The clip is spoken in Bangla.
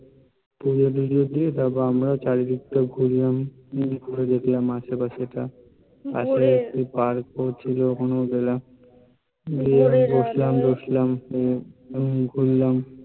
পূজো দিয়েছি তারপর আমরা ও চারিদিক টা ঘুরলাম, ঘুরে দেখলাম আশপাশ এ টা পাশে Park ও ছিলো গেলাম, গিয়ে বসলাম, দেখলাম ঘুরলাম